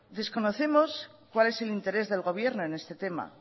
desconocemos cuál es el interés del gobierno en este tema